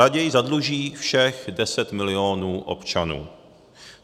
Raději zadluží všech 10 milionů občanů.